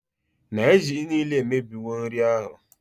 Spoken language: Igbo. na ijiji nile a emebiwo nri ahụ